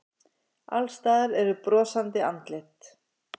Alls staðar eru brosandi andlit.